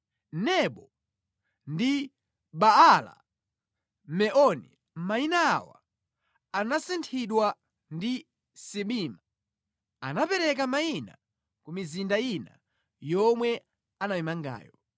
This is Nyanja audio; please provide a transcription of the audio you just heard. Nebo ndi Baala-Meoni (mayina awa anasinthidwa) ndi Sibima. Anapereka mayina ku mizinda ina yomwe anamangayo.